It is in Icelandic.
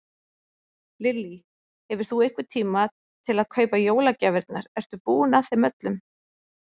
Lillý: Hefur þú einhvern tíma til að kaupa jólagjafirnar, ertu búinn að þeim öllum?